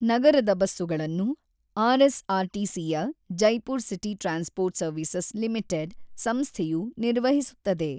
ನಗರದ ಬಸ್ಸುಗಳನ್ನು ಆರ್‌.ಎಸ್‌.ಆರ್‌.ಟಿ.ಸಿ.ಯ Jaipur city transport services limited ‌ಸಂಸ್ಥೆಯು ನಿರ್ವಹಿಸುತ್ತದೆ.